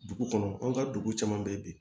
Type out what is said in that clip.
Dugu kɔnɔ an ka dugu caman bɛ yen bi